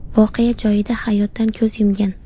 voqea joyida hayotdan ko‘z yumgan .